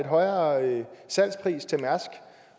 højere salgspris til mærsk